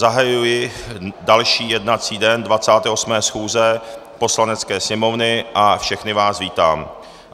Zahajuji další jednací den 28. schůze Poslanecké sněmovny a všechny vás vítám.